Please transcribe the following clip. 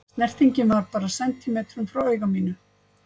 Snertingin var bara sentímetrum frá auga mínu.